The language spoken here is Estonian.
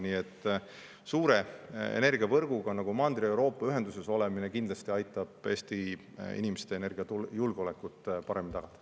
Nii et suure energiavõrguga, nagu Mandri-Euroopa oma on, ühenduses olemine kindlasti aitab Eesti inimeste energiajulgeolekut paremini tagada.